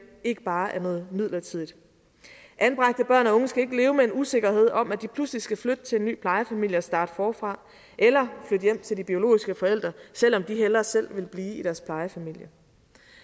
ikke bare er noget midlertidigt anbragte børn og unge skal ikke leve med en usikkerhed om at de pludselig skal flytte til en ny plejefamilie og starte forfra eller flytte hjem til de biologiske forældre selv om de hellere selv vil blive i deres plejefamilie